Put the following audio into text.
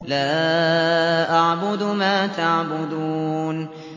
لَا أَعْبُدُ مَا تَعْبُدُونَ